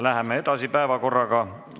Läheme päevakorraga edasi.